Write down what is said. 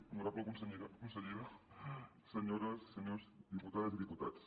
honorable consellera senyores senyors diputades i diputats